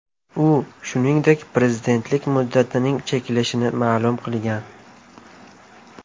U, shuningdek, prezidentlik muddatining cheklashini ma’lum qilgan.